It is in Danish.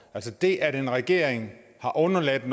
altså det at en regering har undladt at